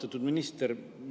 Austatud minister!